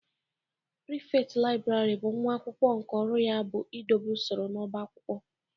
Prịfektị Library bụ nwa akwụkwọ nke ọrụ ya bụ idobe usoro n'ọbá akwụkwọ.